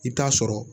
I bɛ taa sɔrɔ